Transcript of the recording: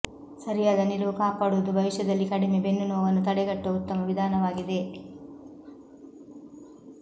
ಸರಿಯಾದ ನಿಲುವು ಕಾಪಾಡುವುದು ಭವಿಷ್ಯದಲ್ಲಿ ಕಡಿಮೆ ಬೆನ್ನು ನೋವನ್ನು ತಡೆಗಟ್ಟುವ ಉತ್ತಮ ವಿಧಾನವಾಗಿದೆ